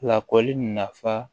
Lakɔli nafa